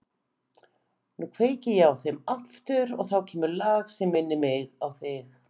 Nú kveiki ég á þeim aftur og þá kemur lag sem minnir mig á þig.